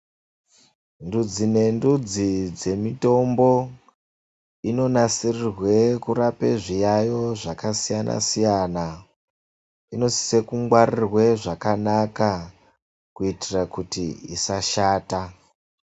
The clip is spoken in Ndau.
Ndudzi nendudzi dzemitombo, inonasirirwe kurape zviyayo zvakasiyana-siyana inosise kungwaririrwe zvakanaka, kuitira kuti isashata.